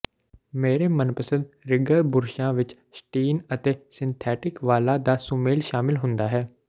ਮੇਰੇ ਮਨਪਸੰਦ ਰਿਗਗਰ ਬੁਰਸ਼ਾਂ ਵਿੱਚ ਸਟੀਨ ਅਤੇ ਸਿੰਥੈਟਿਕ ਵਾਲਾਂ ਦਾ ਸੁਮੇਲ ਸ਼ਾਮਿਲ ਹੁੰਦਾ ਹੈ